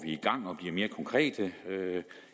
i mere konkrete